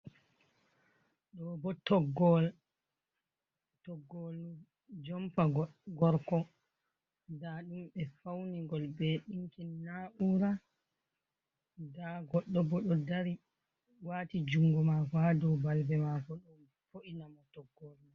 Ɗo bo toggowol, toggowol jumpa gorko nda ɗum ɓe fauni gol be dinkin na'ura, nda goɗɗo bo ɗo dari wati jungo mako ha dow balbe mako ɗon bo’ina mo toggowol.